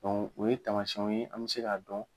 o ye taamasiyɛnw ye an bɛ se k'a dɔn